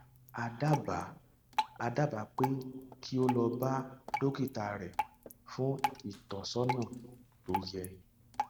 a dábàá a dábàá pé kí o lọ bá dókítà rẹ fún ìtọsọnà tó yẹ